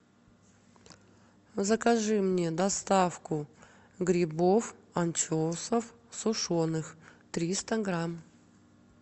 закажи мне доставку грибов анчоусов сушеных триста грамм